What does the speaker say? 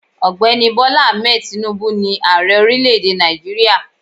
Ògbéni Bola Ahmed Tinubu ni Ààrẹ orílẹ̀ èdè Nàìjíríà